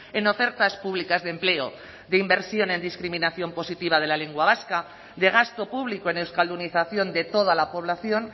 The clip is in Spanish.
en ofertas públicas de empleo de inversión en discriminación positiva de la lengua vasca de gasto público en euskaldunización de toda la población